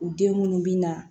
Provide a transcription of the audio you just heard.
U den munnu bi na